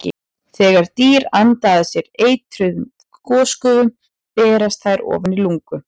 Þegar dýr anda að sér eitruðum gosgufum berast þær ofan í lungu.